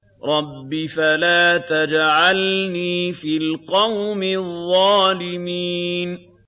رَبِّ فَلَا تَجْعَلْنِي فِي الْقَوْمِ الظَّالِمِينَ